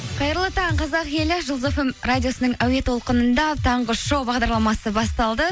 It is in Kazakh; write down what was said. қайырлы таң қазақ елі жұлдыз фм радиосының әуе толқынында таңғы шоу бағдарламасы басталды